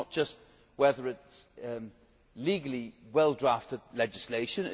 sense. It is not just about whether it is legally well drafted legislation.